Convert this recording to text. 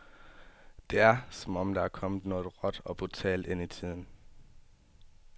Det er, som om der er kommet noget råt og brutalt ind i tiden.